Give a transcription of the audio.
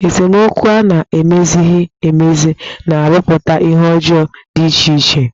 Esemokwu a na-emezighi emezi na-arụputa ihe ọjọọ dị iche iche.